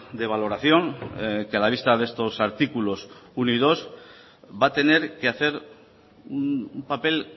de valoración que a la vista de estos artículos uno y dos va a tener que hacer un papel